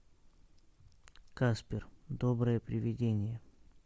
каспер доброе привидение